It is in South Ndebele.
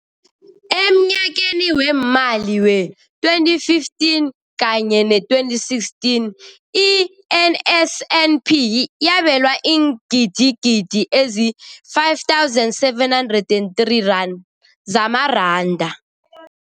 Emnyakeni weemali we-2015 kanye ne-2016, i-NSNP yabelwa iingidigidi ezi-5 703 rand zamaranda.